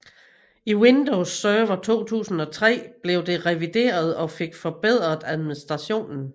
I Windows Server 2003 blev det revideret og fik forbedret administrationen